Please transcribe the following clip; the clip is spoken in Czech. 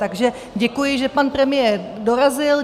Takže děkuji, že pan premiér dorazil.